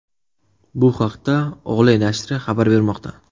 Bu haqda Ole nashri xabar bermoqda .